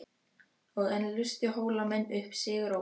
Og enn lustu Hólamenn upp sigurópi.